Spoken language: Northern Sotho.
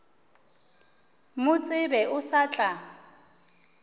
mo tsebe o sa tla